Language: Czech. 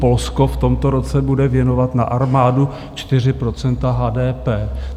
Polsko v tomto roce bude věnovat na armádu 4 % HDP.